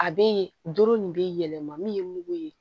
A be yen doro nin be yɛlɛma min ye mugu ye